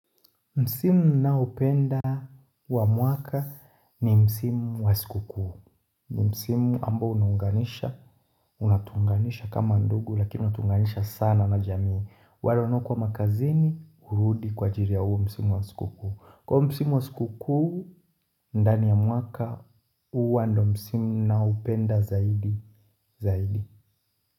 Msimu ninaopenda wa mwaka ni msimu wa sikukuu ni msimu ambao unaunganisha unatuunganisha kama ndugu lakini unatuunganisha sana na jamii wale wanaokuwa makazini hurudi kwa ajili ya huu msimu wa sikukuu kwa hiyo msimu wa sikukuu ndani ya mwaka huwa ndio msimu ninaoupenda zaidi.